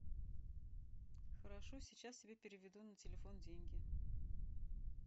хорошо сейчас тебе переведу на телефон деньги